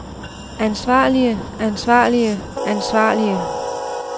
ansvarlige ansvarlige ansvarlige